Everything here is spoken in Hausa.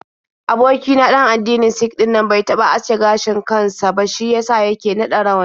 Aboki na ɗan addinin Sik ɗinnan bai taɓa aske gashin kan sa ba, shi ya sa yake naɗa rawani.